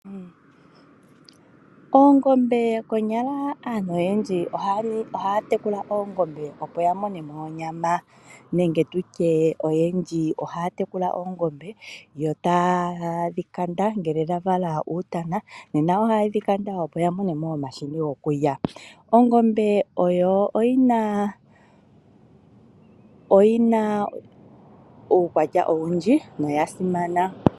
Oongombe. Konyala aantu oyendji ohaya tekula oongombe opo ya mone mo onyama. Nenge tutye oyendji ohaya tekula oongombe yo taye dhi kanda ngele dha gandja oluvalo luutana. Nena ohaye dhi kanda opo ya mone mo omahini gokulya. Ongombe oyo oyina uukwatya owundji noya simana.